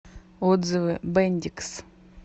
отзывы бендикс